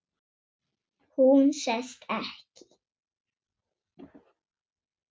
Hún sest ekki.